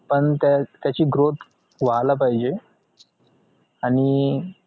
पण त्या त्याची growth व्हायला पाहिजे आणि